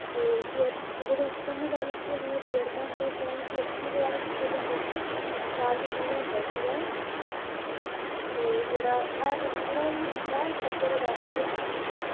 ਤੇ ਜਿਹੜਾ ਅਦਾਲਤ ਸੀਗੀ ਉੰਨ੍ਹਾਂਦੇ chairman ਦਾ ਜੋਨ ਦਵਾਰਾ ਕੀਤਾ ਜਾਂਦਾ ਸੀ ਹਾਂਜੀ, ਚਾਰ ਦੀਨਾ ਦਾ ਹੁੰਦਾ ਸੀ ਤੇ ਜਿਹੜਾ ਵੱਖਰਾ ਹੀ ਜਿਲਾ ਪੱਧਰ ਅਦਾਲਤ ਤੇ ਹੁੰਦਾ ਸੀ